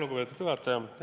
Lugupeetud juhataja!